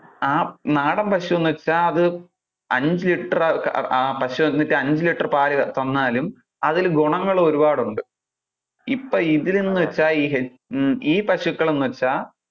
ആ നാടൻ പശുന്നു വെച്ചാൽ, അത് അഞ്ചു ലിറ്റർ അഹ് പശു വന്നിട്ട് അഞ്ചു ലിറ്ററ് പാല് തന്നാലും അതിൽ ഗുണങ്ങള് ഒരുപാട് ഉണ്ട്, ഇപ്പൊ ഇതിൽ എന്ന് വെച്ചാൽ ഇത് ആഹ് ഈ പശുക്കൾ എന്ന് വെച്ചാൽ